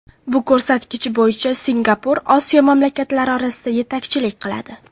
Bu ko‘rsatkich bo‘yicha Singapur Osiyo mamlakatlari orasida yetakchilik qiladi.